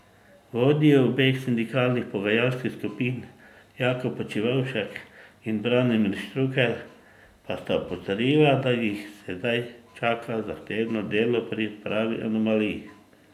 Vodji obeh sindikalnih pogajalskih skupin Jakob Počivavšek in Branimir Štrukelj pa sta opozorila, da jih sedaj čaka zahtevno delo pri odprave anomalij.